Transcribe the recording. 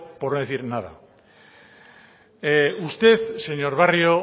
por no decir nada usted señor barrio